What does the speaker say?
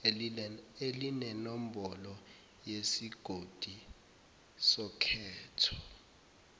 elinenombholo yesigodi sokhetho